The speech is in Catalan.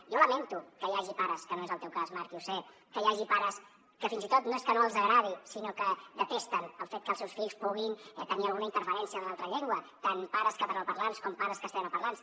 jo lamento que hi hagi pares que no és el teu cas marc i ho sé que fins i tot no és que no els agradi sinó que detesten el fet que els seus fills puguin tenir alguna interferència de l’altra llengua tant pares catalanoparlants com pares castellanoparlants